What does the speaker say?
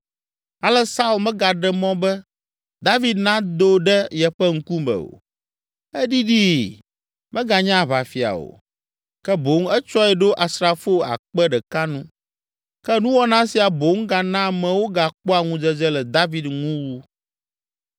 Ale Saul megaɖe mɔ be David nado ɖe yeƒe ŋkume o. Eɖiɖii, meganye aʋafia o, ke boŋ etsɔe ɖo asrafo akpe ɖeka nu. Ke nuwɔna sia boŋ gana amewo gakpɔa ŋudzedze le David ŋu wu.